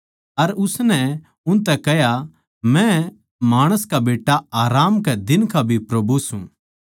अर उसनै उनतै कह्या मै माणस का बेट्टा आराम कै दिन का भी प्रभु सूं